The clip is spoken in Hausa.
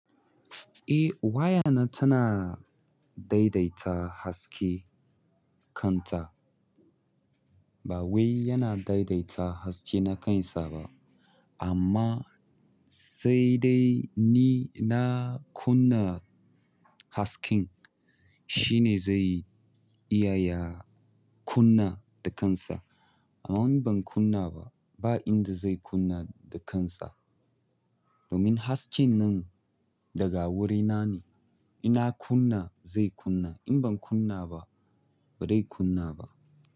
Eh wayana tana daidaita hasken kanta. Ba wai yana daidaita haske na kansa ba, amma sai dai ni na kunna hasken shi ne zai iya ya kunna da kansa. Amma in ban kunna ba, ba inda zai kunna da kansa. Domin hasken nan daga wurina ne. In na kunna zai kunna, in ban kunna ba ba zai kunna ba.